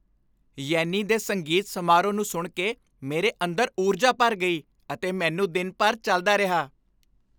ਯੈਨੀ ਦੇ ਸੰਗੀਤ ਸਮਾਰੋਹ ਨੂੰ ਸੁਣ ਕੇ ਮੇਰੇ ਅੰਦਰ ਊਰਜਾ ਭਰ ਗਈ ਅਤੇ ਮੈਨੂੰ ਦਿਨ ਭਰ ਚੱਲਦਾ ਰਿਹਾ।